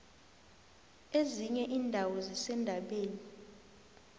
ezinye indawo zisendabeni